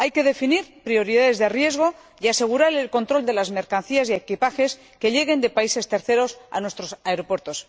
Hay que definir prioridades de riesgo y asegurar el control de las mercancías y equipajes que lleguen de terceros países a nuestros aeropuertos.